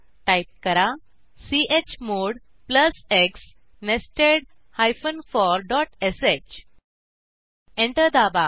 type करा chmod plus x nested for dot sh enter दाबा